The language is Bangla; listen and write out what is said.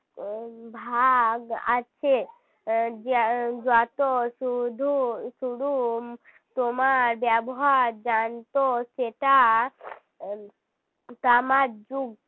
ভাগ আছে যত শুধু শুধু তোমার ব্যবহার জানত সেটা তামার যুগ